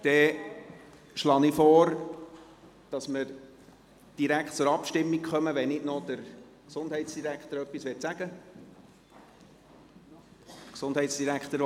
Dann schlage ich vor, dass wir direkt zur Abstimmung kommen, wenn nicht noch der Gesundheitsdirektor etwas sagen möchte.